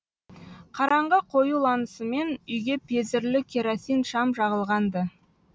қараңғы қоюланысымен үйге пезірлі керосин шам жағылған ды